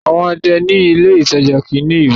àwọn ọdẹ ní ilé ìtajà kìí ní ìbọn